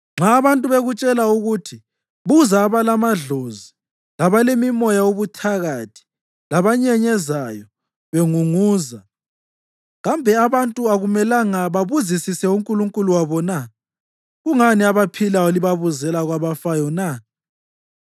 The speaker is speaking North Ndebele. Nxa abantu bekutshela ukuthi buza abalamadlozi labalemimoya yobuthakathi, labanyenyezayo bengunguza, kambe abantu akumelanga babuzisise uNkulunkulu wabo na? Kungani abaphilayo libabuzela kwabafayo na?